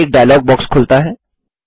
एक dialog box खुलता है